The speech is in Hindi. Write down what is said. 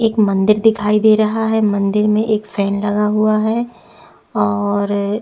एक मंदिर दिखाई दे रहा है मंदिर में एक फैन लगा हुआ है और--